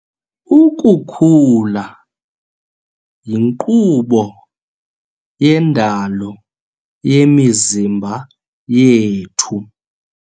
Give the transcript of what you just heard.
Ukukhula yinkqubo yendalo yemizimba yethu.